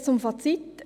Jetzt zum Fazit.